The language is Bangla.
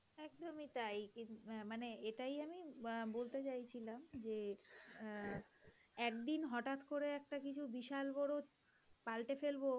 একদমই তাই, অ্যাঁ মানে এটাই আমি বলতে চাইছিলাম যে অ্যাঁ একদিন হঠাৎ করে একটা কিছু বিশাল বড় পাল্টে ফেলব,